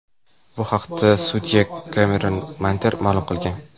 Bu haqda sudya Kemeron Mander ma’lum qilgan.